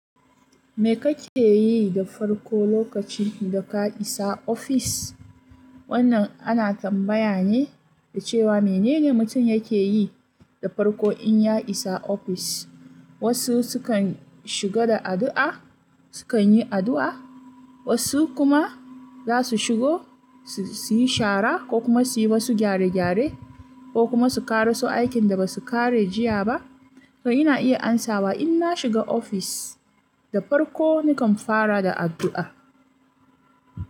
Me kake yi da farko lokacin da ka isa ofis? Wannan ana tambaya ne da cewa menene mutum yake yi da farko in ya isa ofis. Wasu su kan shiga da addu'a, su kan yi addu'a, wasu kuma za su shigo su yi shara ko kuma su yi wasu gyare-gyare ko kuma su ƙaraso aikin da ba su ƙare jiya ba. To ina iya amsawa in na shiga ofis da farko nakan fara da addu'a.